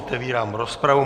Otevírám rozpravu.